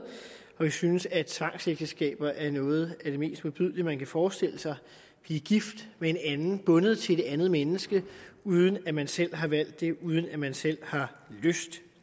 og vi synes at tvangsægteskaber er noget af det mest modbydelige man kan forestille sig at blive gift med en anden bundet til et andet menneske uden at man selv har valgt det uden at man selv har lyst